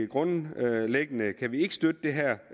grundlæggende kan vi ikke støtte det her